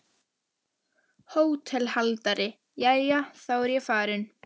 HÓTELHALDARI: Jæja, þá er ég farinn.